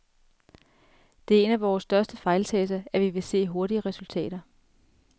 Det er en af vore største fejltagelser, at vi vil se hurtige resultater.